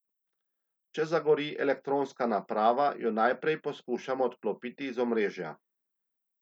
Če zagori elektronska naparava, jo najprej poskušamo odklopiti iz omrežja.